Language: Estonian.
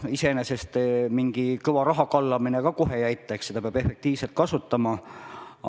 Iseenesest mingi kõva rahakallamine ka kohe ei aita, raha peab efektiivselt kasutama.